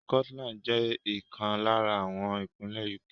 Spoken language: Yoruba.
Scotland jẹ́ ìkan lára àwọn ìpínlè UK.